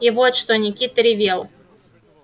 и вот то что никита ревел